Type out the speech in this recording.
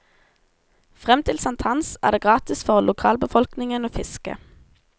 Frem til sankthans er det gratis for lokalbefolkningen å fiske.